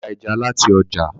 Bàbá ra ẹja láti ojà.